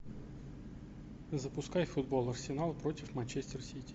запускай футбол арсенал против манчестер сити